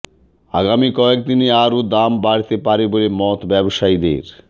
আগামী কয়েকদিনে আরও দাম বাড়তে পারে বলে মত ব্যবসায়ীদের